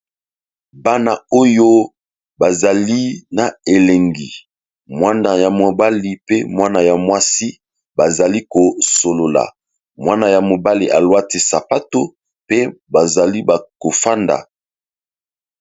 Bana oyo bazali na elengi mwana ya mobali pe mwana ya mwasi bazali kosolola mwana ya mobali alwati sapato pe bazali bakofanda.